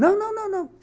Não, não, não, não.